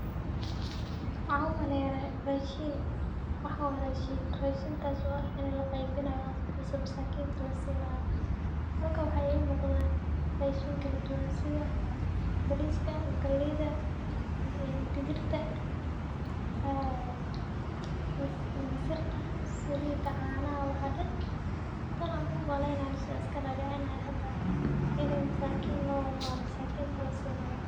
Waxaa umaleyaah rashin, waxan wa rashin, rashinkas oo ah loqeybinayo dadka masakinta ah lasinayo. Waxaa ii muqdaah rashin kaladuwan sida bariska, galeyda ee digirta ee burka , salida canaha waxa dhan tana umaleynanao iskadadicinayo hada ini masakinta lowado oo masakinta lasinayo.